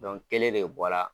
kelen de bɔ la